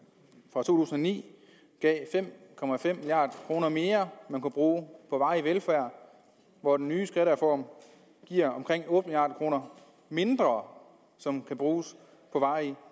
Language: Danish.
to tusind og ni gav fem milliard kroner mere man kunne bruge på varig velfærd hvor den nye skattereform giver omkring otte milliard kroner mindre som kan bruges på varig